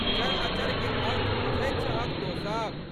चरअचरके अर्थ बुझैत छहक तोँ सब?